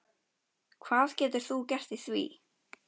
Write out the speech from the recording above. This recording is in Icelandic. Hvað getur þú gert í því?